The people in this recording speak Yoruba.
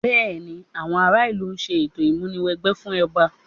Bẹ́ẹ̀ni, àwọn àwọn ará ìlú ń ṣe ètò ìmúni wẹgbẹ́ fún ọba